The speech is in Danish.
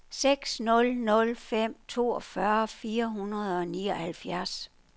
seks nul nul fem toogfyrre fire hundrede og nioghalvfjerds